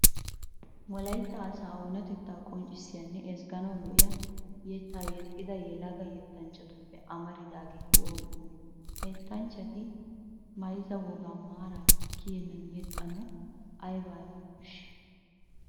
Wolaytta asaa onatettaa qonccissiyanne ezgganawu lo"iya yettata yexxida yelaga yettanchchatuppe amaridaageeti oonee oonee? Ha yettanchchati mayzza wogaa maarappe kiyennan yexxanawu aybaa aybaa koshshii?